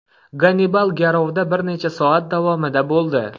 Gannibal garovda bir necha soat davomida bo‘ldi.